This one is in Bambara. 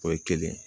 O ye kelen ye